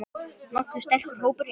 Nokkuð sterkur hópur hérna.